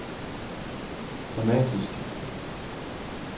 dramatisk